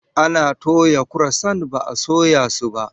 Ana toya kurosant ba a soya su ba.